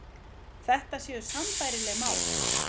Þetta séu sambærileg mál